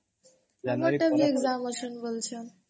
ମୋର ବି ଗୋଟେ exam ଅଛି